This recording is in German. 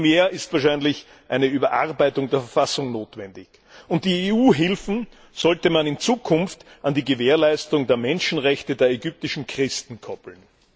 Vielmehr ist wahrscheinlich eine Überarbeitung der Verfassung notwendig, und die EU Hilfen sollte man in Zukunft an die Gewährleistung der Menschenrechte der ägyptischen Christen koppeln.